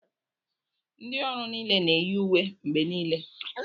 Ndị ọrụ niile na-eyi uwe mgbe niile